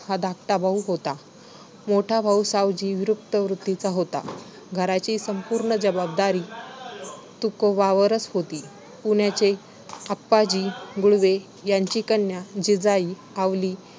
धाकटा भाऊ होता. मोठा भाऊ सावजी विरक्त वृत्तीचा होता. घराची संपूर्ण जबाबदार तुकोबांवरच होती. पुण्याचे आप्पाजी गुळवे यांची कन्या जिजाई आवली